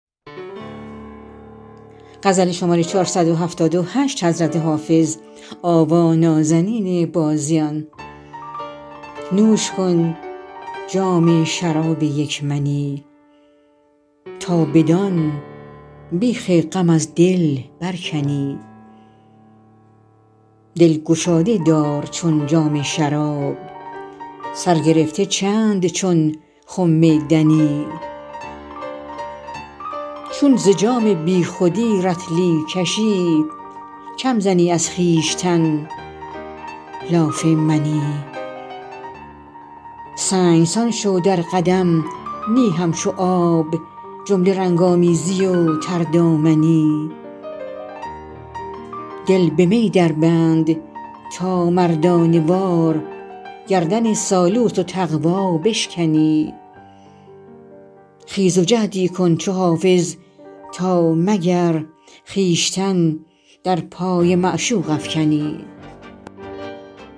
نوش کن جام شراب یک منی تا بدان بیخ غم از دل برکنی دل گشاده دار چون جام شراب سر گرفته چند چون خم دنی چون ز جام بی خودی رطلی کشی کم زنی از خویشتن لاف منی سنگسان شو در قدم نی همچو آب جمله رنگ آمیزی و تردامنی دل به می دربند تا مردانه وار گردن سالوس و تقوا بشکنی خیز و جهدی کن چو حافظ تا مگر خویشتن در پای معشوق افکنی